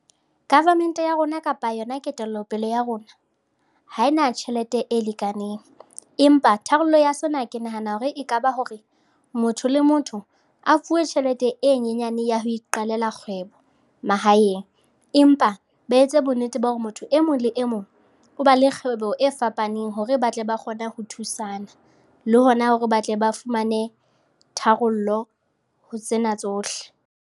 Government ya rona kapa yona ketellopele ya rona ha ena tjhelete e lekaneng empa tharollo ya sena ke nahana hore ekaba hore motho le motho a fuwe tjhelete e nyenyane ya ho iqalla kgwebo mahaeng empa ba etse bonnete ba hore motho e mong le e mong o ba le kgwebo e fapaneng hore ba tle ba kgone ho thusana le hona hore ba tle ba fumane tharollo ho tsena tsohle.